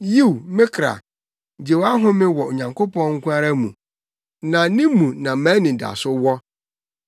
Yiw me kra, gye wʼahome wɔ Onyankopɔn nko ara mu; na ne mu na mʼanidaso wɔ.